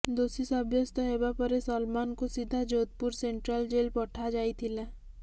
ଦୋଷୀ ସାବ୍ୟସ୍ତ ହେବା ପରେ ସଲମାନଙ୍କୁ ସିଧା ଯୋଧପୁର ସେଣ୍ଟ୍ରାଲ ଜେଲ୍ ପଠାଯାଇଥିଲା